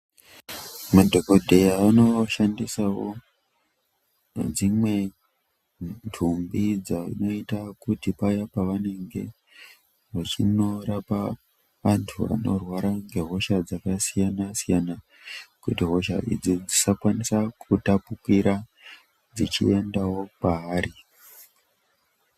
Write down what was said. Madhokodheya anoshandisawo dzimwe nhumbi dzavanoita kuti paya pavanenge vachinorapa vanhu vanorwara ngehosha dzakasiyana siyana kuti hosha idzodzi dzisakwanise kutapukira dzichienda kwavari.